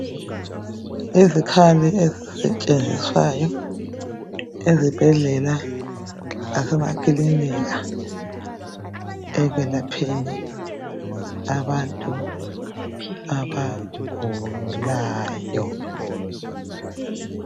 izikhali ezisetshenziswayo ezibhedlela lasemakilinika ekwelapheni abantu abagulayo